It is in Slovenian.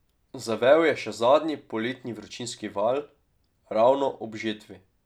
Zavel je še zadnji poletni vročinski val, ravno ob žetvi.